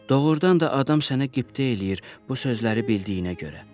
Doğurdan da adam sənə qibtə eləyir bu sözləri bildiyinə görə.